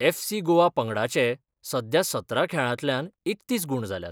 FC Goa पंगडाचे सध्या सतरा खेळांतल्यान एकतीस गूण जाल्यात.